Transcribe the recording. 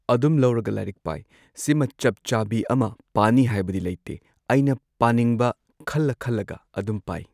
ꯑꯗꯨꯝ ꯂꯧꯔꯒ ꯂꯥꯏꯔꯤꯛ ꯄꯥꯏ ꯁꯤꯃ ꯆꯞ ꯆꯥꯕꯤ ꯑꯃ ꯄꯥꯅꯤ ꯍꯥꯏꯕꯗꯤ ꯂꯩꯇꯦ ꯑꯩꯅ ꯄꯥꯅꯤꯡꯕ ꯈꯜꯂ ꯈꯜꯂꯒ ꯑꯗꯨꯝ ꯄꯥꯏ꯫